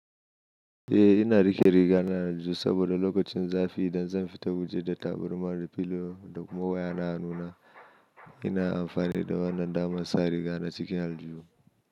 Eh ina riƙe riga na da aljuhu saboda lokacin zafi idan zan fita waje da tabarma da filo da kuma waya na nuna ina amfani da wannan damar sa riga na cikin aljuhu.